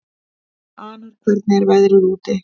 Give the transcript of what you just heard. Anor, hvernig er veðrið úti?